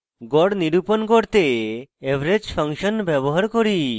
গড় নিরূপণ করতে average ফাংশন ব্যবহার করি